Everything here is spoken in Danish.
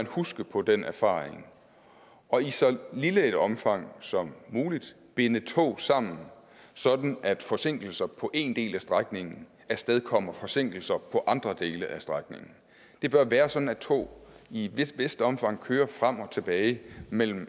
huske på den erfaring og i så lille et omfang som muligt binde tog sammen sådan at forsinkelser på en del af strækningen afstedkommer forsinkelser på andre dele af strækningen det bør være sådan at tog i et vist omfang kører frem og tilbage mellem